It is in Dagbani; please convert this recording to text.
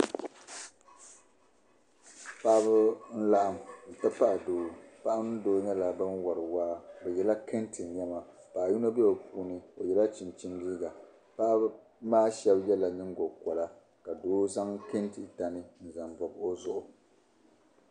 Paɣibi n laɣim nti pahi doo, paɣa ni doo nyɛla ban wari waa bi yala kentɛ nema paɣi yinɔ be bi puuni. oye la chinchini liiga paɣimaa shab yela. nyiŋgo kola ka doo zaŋ kentɛ tani n zaŋ bɔbi ozuɣu.